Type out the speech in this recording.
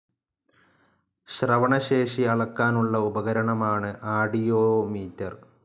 ശ്രവണശേഷി അളക്കാനുള്ള ഉപകരണമാണ് ആഡിയോമീറ്റർ.